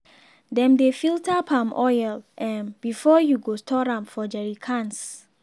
dem dey filter palm oil um before you go store am for jerry cans.